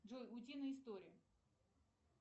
джой утиные истории